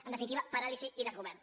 en definitiva paràlisi i desgovern